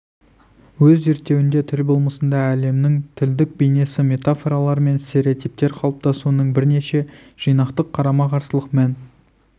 өз зерттеуінде тіл болмысында әлемнің тілдік бейнесі метафоралар мен стереотиптер қалыптасуының бірнеше жинақтық қарама-қарсылық мән